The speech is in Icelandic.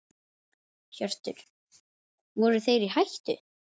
Hjörtur: Voru þeir í hættu?